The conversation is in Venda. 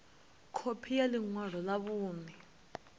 khophi ya ḽi ṅwalo ḽa vhuṋe